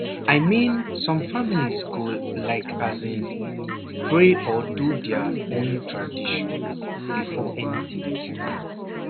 i mean some family go like as in pray or do their own tradition before anything start